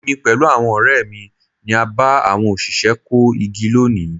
Èmi pẹ̀lú àwọn ọ̀rẹ́ mi ni a bá àwọn òṣìṣẹ́ kó igi lónìí.